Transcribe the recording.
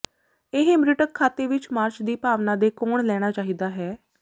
ਇਹ ਮੀਟ੍ਰਿਕ ਖਾਤੇ ਵਿੱਚ ਮਾਰਚ ਦੀ ਭਾਵਨਾ ਦੇ ਕੋਣ ਲੈਣਾ ਚਾਹੀਦਾ ਹੈ